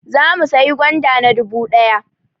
Zamu sayi gwanda na dubu ɗaya